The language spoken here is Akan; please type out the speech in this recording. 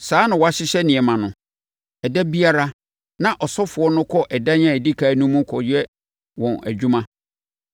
Saa na wɔahyehyɛ nneɛma no. Ɛda biara na asɔfoɔ no kɔ ɛdan a ɛdi ɛkan no mu kɔyɛ wɔn adwuma;